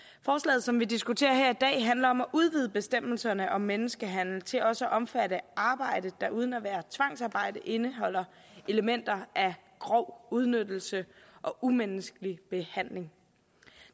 forslaget som vi diskuterer her i dag handler om at udvide bestemmelserne om menneskehandel til også at omfatte arbejde der uden at være tvangsarbejde indeholder elementer af grov udnyttelse og umenneskelig behandling